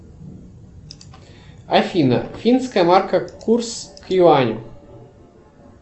афина финская марка курс к юаню